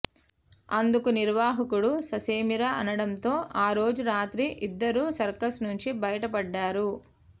అందుకు నిర్వాహకుడు ససేమిరా అనడంతో ఆరోజు రాత్రి ఇద్దరూ సర్కస్ నుంచి బయటపడ్డారు